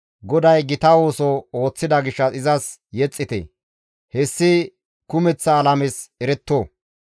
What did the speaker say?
GODAY gita ooso ooththida gishshas izas yexxite. Hessi kumeththa alames eretto.